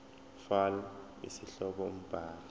fal isihloko umbhali